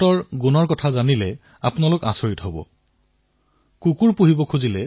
ইহঁতবোৰ ইমানেই ধুনীয়া যে আপোনালোক আচৰিত হৈ পৰিব